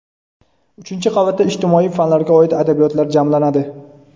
uchinchi qavatda ijtimoiy fanlarga oid adabiyotlar jamlanadi.